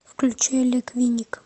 включи олег винник